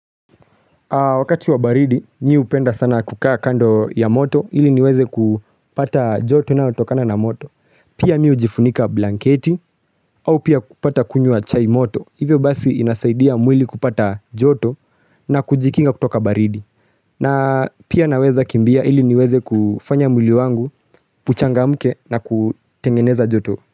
Wakati wa baridi nyi hupenda sana kukaa kando ya moto ili niweze kupata joto inayotokana na moto. Pia mimi hujifunika blanketi au pia kupata kunywa chai moto. Hivyo basi inasaidia mwili kupata joto na kujikinga kutoka baridi. Na pia naweza kimbia ili niweze kufanya mwili wangu, uchangamke na kutengeneza joto.